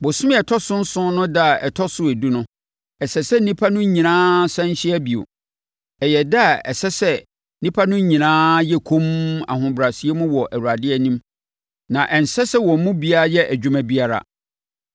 “ ‘Bosome a ɛtɔ so nson no ɛda a ɛtɔ so edu no, ɛsɛ sɛ nnipa no nyinaa sane hyia bio. Ɛyɛ ɛda a ɛsɛ sɛ nnipa no nyinaa yɛ komm ahobrɛaseɛ mu wɔ Awurade anim, na ɛnsɛ sɛ wɔn mu biara yɛ adwuma biara.